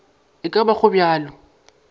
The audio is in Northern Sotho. e ka ba go bjalo